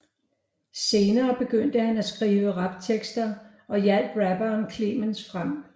Senere begyndte han at skrive raptekster og hjalp rapperen Clemens frem